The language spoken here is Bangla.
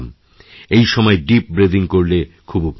এই সময় ডিপ ব্রেদিং করলে খুব উপকার হয়